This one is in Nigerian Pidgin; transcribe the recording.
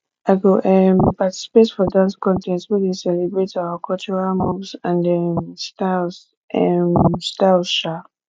i go um participate for dance contest wey dey celebrate our cultural moves and um styles um styles um